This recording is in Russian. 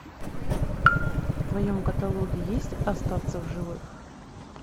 в твоем каталоге есть остаться в живых